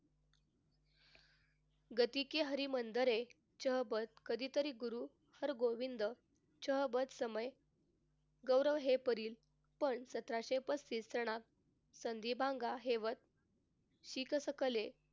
गती कि हरमंदिर हे च्या बाबत कधीतरी गुरु हरगोविंद च्याबाबत समय गौरव हे पण सतराशे पस्तीस सालात